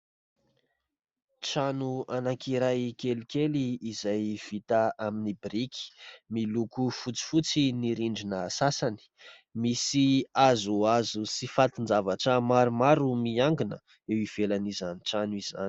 Trano anankiray kelikely izay vita amin'ny biriky, miloko fotsifotsy ny rindrina sasany, misy hazohazo sy fatin-javatra maromaro miankina eo ivelan'izany trano izany.